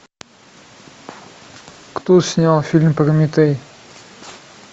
кто снял фильм прометей